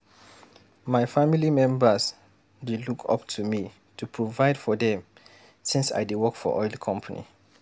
My family members dey look up to me to provide for them since I dey work for oil company.